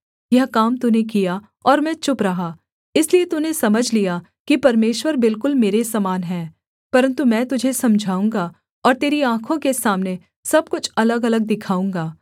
यह काम तूने किया और मैं चुप रहा इसलिए तूने समझ लिया कि परमेश्वर बिल्कुल मेरे समान है परन्तु मैं तुझे समझाऊँगा और तेरी आँखों के सामने सब कुछ अलगअलग दिखाऊँगा